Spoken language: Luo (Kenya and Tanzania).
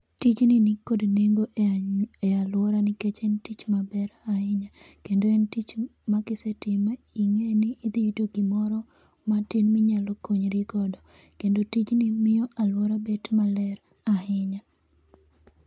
Tijni nikod nengo e any e aluora nikech en tich maber ahinya. Kendo en tich ma ma kisetime ing'e ni idhi yudo gimoro matin minyalo konyri godo. Kendo tij ni miyo aluora bet maler ahinya.